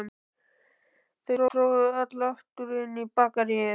Þau tróðust öll aftur inn í Bakaríið.